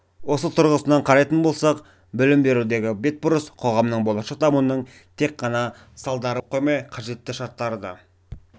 осы тұрғысынан қарайтын болсақ білім берудегі бетбұрыс қоғамның болашақ дамуының тек ғана салдары болып қоймай қажетті шарттары да